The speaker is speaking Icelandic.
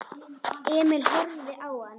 Emil horfði á hann.